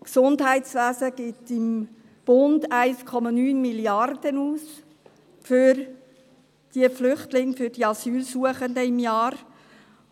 Im Gesundheitswesen gibt der Bund 1,3 Mrd. Franken im Jahr für diese Flüchtlinge, diese Asylsuchenden aus,